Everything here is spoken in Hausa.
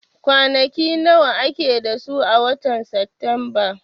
Kwanaki nawa ake da su a watan Satumba?